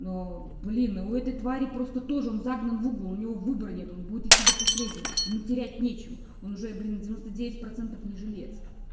ну блин у этой твари просто тоже он загнан в угол у него выбора нет он будет идти до последнего ему терять нечего он уже блин девяносто девять процентов не жилец